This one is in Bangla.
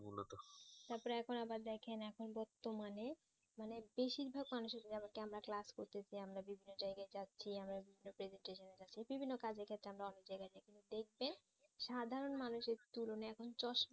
তারপরে এখন আবার দেখেন এখন বর্তমানে মানে বেশিরভাগ মানুষের আমরা class করতেসি আমরা বিভিন্ন জায়গায় যাচ্ছি আমরা বিভিন্ন presentation এ যাচ্ছি বিভিন্ন কাজের ক্ষেত্রে আমরা অনেক জায়গায় যাই কিন্তু দেখবেন সাধারণ মানুষের তুলনায় এখন চোস্ত